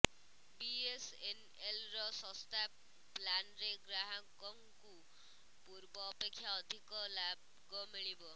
ବିଏସ୍ଏନ୍ଏଲ୍ର ଶସ୍ତା ପ୍ଲାନ୍ରେ ଗ୍ରାହକଙ୍କୁ ପୂର୍ବ ଅପେକ୍ଷା ଅଧିକ ଲାଗ ମିଳିବ